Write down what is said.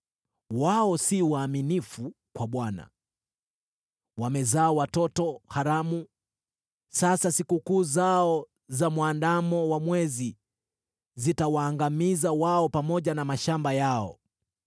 Wao si waaminifu kwa Bwana ; wamezaa watoto haramu. Sasa sikukuu zao za Mwandamo wa Mwezi zitawaangamiza wao pamoja na mashamba yao.